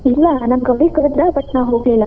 ಇಲ್ಲಾ ನನ್ colleague ಕರದ್ರ but ನಾನ್ ಹೋಗ್ಲಿಲ್ಲ .